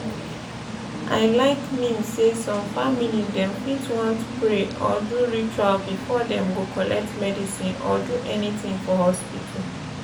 i like mean say some family dem fit want pray or do ritual before dem go collect medicine or do anything for hospital.